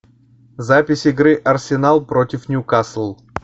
запись игры арсенал против ньюкасл